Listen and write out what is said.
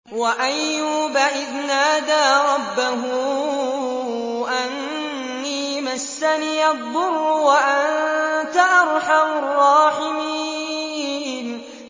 ۞ وَأَيُّوبَ إِذْ نَادَىٰ رَبَّهُ أَنِّي مَسَّنِيَ الضُّرُّ وَأَنتَ أَرْحَمُ الرَّاحِمِينَ